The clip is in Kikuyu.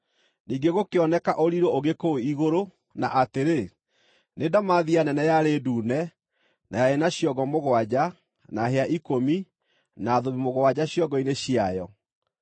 Ningĩ gũkĩoneka ũrirũ ũngĩ kũu igũrũ na atĩrĩ: nĩ ndamathia nene yarĩ ndune, na yarĩ na ciongo mũgwanja, na hĩa ikũmi, na thũmbĩ mũgwanja ciongo-inĩ ciayo.